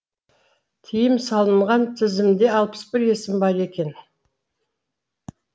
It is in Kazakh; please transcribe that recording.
тыйым салынған тізімде алпыс бір есім бар екен